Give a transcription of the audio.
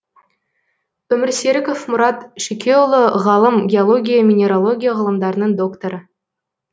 өмірсеріков мұрат шүкеұлы ғалым геология минералогия ғылымдарының докторы